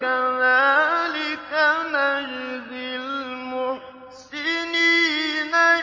كَذَٰلِكَ نَجْزِي الْمُحْسِنِينَ